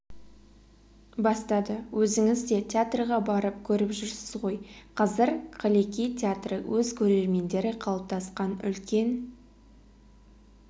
бастады өзіңіз де театрға барып көріп жүрсіз ғой қазір қаллеки театры өз көрермендері қалыптасқан үлкен